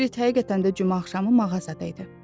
Berit həqiqətən də cümə axşamı mağazada idi.